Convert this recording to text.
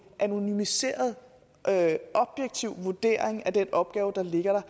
anonymiseret objektiv vurdering af den opgave der ligger